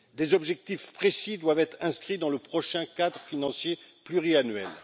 Des objectifs précis doivent être inscrits dans le prochain cadre financier pluriannuel.